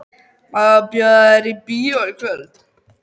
Má ég bjóða þér í bíó í kvöld?